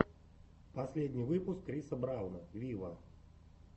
последний выпуск криса брауна виво